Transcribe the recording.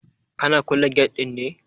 Kana kulle gate ɗin ne?